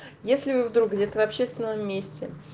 если вы вдруг где-то в общественном месте